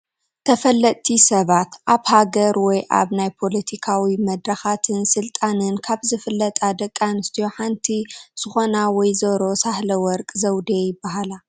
ተፈለጥቲ ሰባት፡- ኣብ ሃገር ወይ ኣብ ናይ ፓለቲካዊ መድረኻትን ስልጣንን ካብ ዝፍለጣ ደቂ ኣንስትዮ ሓንቲ ዝኾና ወ/ሮ ሳህለወርቅ ዘውዴ ይባሃላ፡፡